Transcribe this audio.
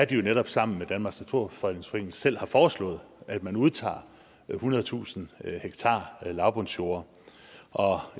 de jo netop sammen med danmarks naturfredningsforening selv foreslået at man udtager ethundredetusind ha lavbundsjorder og